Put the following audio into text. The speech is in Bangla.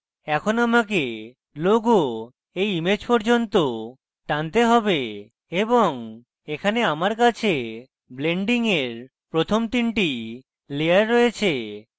এখন আমাকে logo এই image পর্যন্ত টানতে have এবং এখানে আমার কাছে blending এর প্রথম 3 the লেয়ার রয়েছে